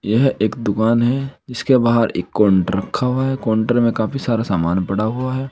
यह एक दुकान है इसके बाहर एक काउंटर रखा हुआ है काउंटर में काफी सारा सामान पड़ा हुआ है।